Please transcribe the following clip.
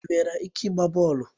Ị nwere ike ịgba bọọlụ?